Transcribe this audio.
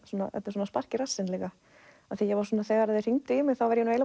svona spark í rassinn líka þegar þeir hringdu í mig var ég